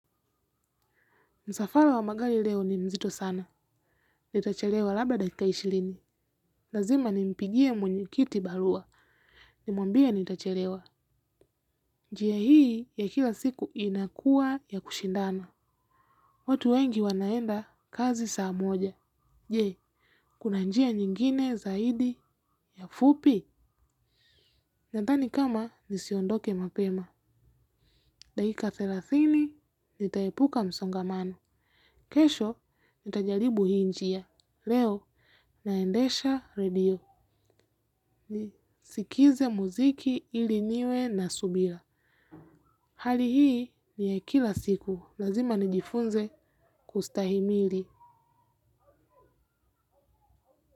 Msafala wa magali leo ni mzito sana. Nitachelewa labda dakika ishilini. Lazima nimpigie mwenye kiti balua. Nimwambie nitacherewa. Njia hii ya kila siku inakua ya kushindana. Watu wengi wanaenda, kazi saa moja. Je, kuna njia nyingine zaidi na fupi? Nadhani kama nisiondoke mapema. Dakika thelathini, nitaepuka msongamano. Kesho, nitajaribu hii njia. Leo naendesha redio nisikize muziki ili niwe na subila. Hali hii ni ya kila siku. Lazima nijifunze kustahimili.